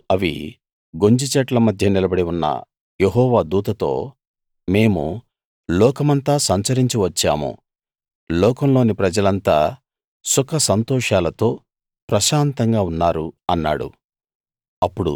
అప్పుడు అవి గొంజి చెట్ల మధ్య నిలబడి ఉన్న యెహోవా దూతతో మేము లోకమంతా సంచరించి వచ్చాము లోకంలోని ప్రజలంతా సుఖ సంతోషాలతో ప్రశాంతంగా ఉన్నారు అన్నాడు